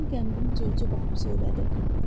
Qəmgin-qəmgin Corca baxıb söylədi.